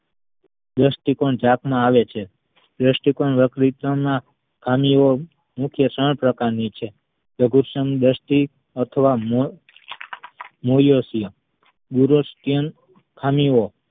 દ્રષ્ટિ કોણ જાત માં આવે છે દ્રષ્ટિકોણ વકૃતિ ના ખામી ઓ મુખ્ય ત્રણ પ્રકારની છે લઘુ દ્રષ્ટિ અથવા મોં ~મોયુસીય દુરાસીયાન ખામી ઓ